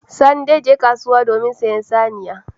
Sani zai je kasuwa domin sayen saniya.